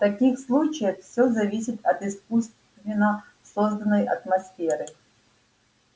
в таких случаях всё зависит от искусственно созданной атмосферы